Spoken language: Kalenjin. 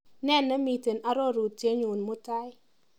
Nee nemiite arorutienyu mutai?